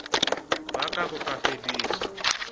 ba ka bo ka fediswa